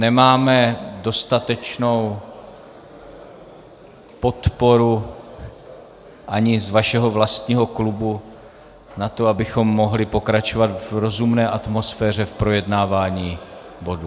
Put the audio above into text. Nemáme dostatečnou podporu ani z vašeho vlastního klubu na to, abychom mohli pokračovat v rozumné atmosféře v projednávání bodu.